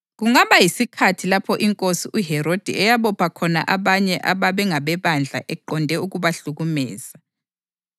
Kungaba yisikhathi lapho iNkosi uHerodi eyabopha khona abanye ababe ngabebandla eqonde ukubahlukumeza.